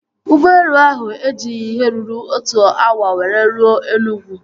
Ụgbọelu ahụ ejighị ihe ruru otu awa were ruo Enugwu